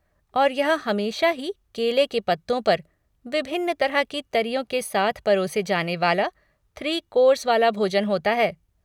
और यह हमेशा ही केले के पत्तों पर, विभिन्न तरह की तरियों के साथ परोसे जाने वाला, थ्री कोर्स वाला भोजन होता है।